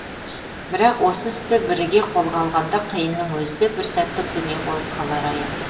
бірақ осы істі біріге қолға алғанда қиынның өзі де бір сәттік дүние болып қалары аян